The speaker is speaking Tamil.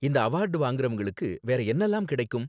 இந்த அவார்டு வாங்கறவங்களுக்கு வேற என்னலாம் கிடைக்கும்?